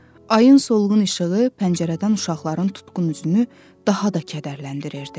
Ayın solğun işığı pəncərədən uşaqların tutqun üzünü daha da kədərləndirirdi.